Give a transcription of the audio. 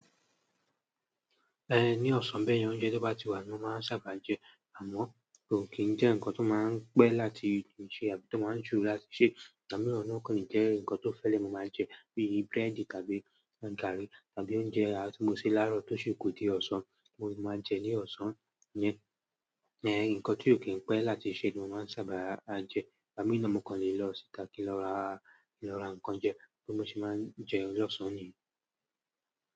Eh, ní ọ̀sán bẹ́ẹ̀ni oúnjẹ tó bá ti wà ni mo máa ń sábà jẹ, àmọ́ kò kín ń jẹ́ ǹkan tó máa ń pẹ́ láti ju ṣe àbí tó máa ń jù láti sè. Tàbí ọ̀nà kan ni jẹ́ ǹkan tó fẹ́ẹ̀lẹ̀ mo máa ń jẹ, bíi búrẹ́dì tàbí garri tàbí oúnjẹ timọ̀ ṣe láàárọ̀ tó ṣi ku dé ọ̀sán, mo lè máa jẹ ní ọ̀sán yẹn. Ǹkan tí ò kí n pẹ́ láti sè ni mo máa ń sábà á jẹ. Ọ̀nà kan lè lọ síta kí lọ ra, ki lọ ra ǹkan jẹ bi mo se máa ń jẹ ní ọ̀sán nii.